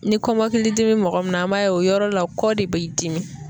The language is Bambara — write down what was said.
Ni kɔmɔkili dimi be mɔgɔ min na, an b'a ye o yɔrɔ la kɔ de b'i dimi.